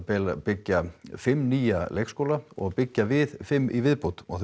byggja fimm nýja leikskóla og byggja við fimm í viðbót og